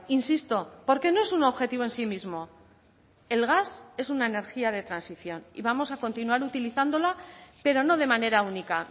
insisto porque no es un objetivo en sí mismo el gas es una energía de transición y vamos a continuar utilizándola pero no de manera única